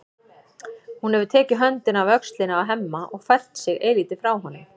Hún hefur tekið höndina af öxlinni á Hemma og fært sig eilítið frá honum.